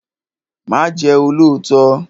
Má Ję olóòtọ́!